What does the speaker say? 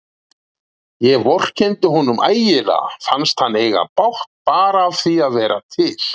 Ég vorkenndi honum ægilega, fannst hann eiga bágt bara af því að vera til.